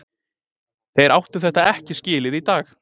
Þeir áttu þetta ekki skilið í dag.